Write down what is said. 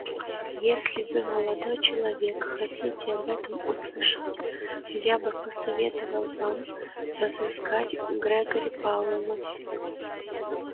если вы молодой человек хотите об этом услышать я бы посоветовал вам разыскать грегори пауэлла